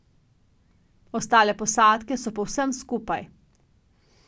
Ostale posadke so povsem skupaj.